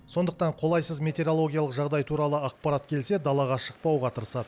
сондықтан қолайсыз метеорологиялық жағдай туралы ақпарат келсе далаға шықпауға тырысады